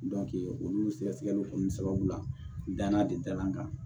olu sɛgɛsɛgɛliw sababu la dana de dalan kan